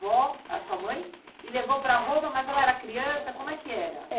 Vó, a sua mãe, e levou para Roma, mas ela era criança, como é que era?